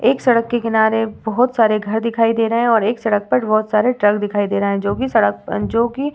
एक सड़क के किनारे बहोत सारे घर दिखाई दे रहे हैं और एक सड़क पर बहोत सारे ट्रक दिखाई दे रहे हैं जो भी सड़क जो कि --